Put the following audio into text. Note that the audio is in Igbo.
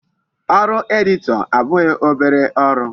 Ọrụ editor abụghị obere ọrụ.